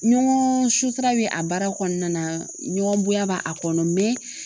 Ɲɔgɔn sutura bɛ a baara kɔnɔna na ɲɔgɔnya b'a kɔnɔ